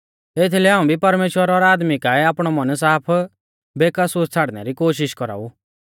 एथीलै हाऊं भी परमेश्‍वर और आदमी काऐ आपणौ मन साफ बेकसूर छ़ाड़नै री कोशिष कौराऊ